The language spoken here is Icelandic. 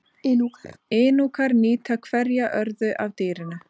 Inúkar nýta hverja örðu af dýrinu.